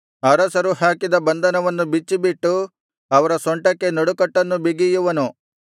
ಅರಸರು ಹಾಕಿದ ಬಂಧನವನ್ನು ಬಿಚ್ಚಿಬಿಟ್ಟು ಅವರ ಸೊಂಟಕ್ಕೆ ನಡುಕಟ್ಟನ್ನು ಬಿಗಿಯುವನು